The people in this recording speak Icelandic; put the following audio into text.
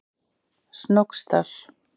Snóksdal